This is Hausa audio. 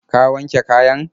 Ka wanke kayan?